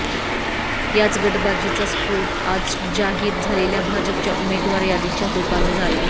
याच गटबाजीचा स्फोट आज जाहीर झालेल्या भाजपच्या उमेदवार यादीच्या रूपानं झालाय